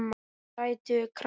Sætur krakki!